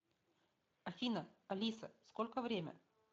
афина алиса сколько время